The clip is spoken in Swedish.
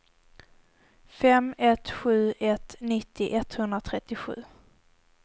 fem ett sju ett nittio etthundratrettiosju